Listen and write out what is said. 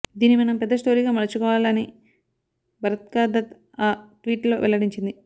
దీన్ని మనం పెద్ద స్టోరీగా మలుచుకోవాలని బర్కాదత్ ఆ ట్వీట్ లో వెల్లడించింది